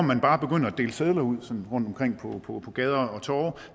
man bare begynder at dele sedler ud sådan rundtomkring på på gader og torve